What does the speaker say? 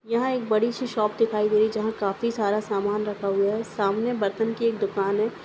यहा एक बडीशी शॉप दिखाई दे रही है। जहा काफी सारा सामान रखा हुआ है। सामने बर्तन की एक दुकान है।